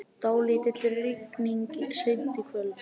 Dálítil rigning seint í kvöld